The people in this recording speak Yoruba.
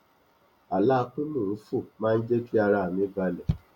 àlá pé mò n fò má n jẹ kí ara mi balẹ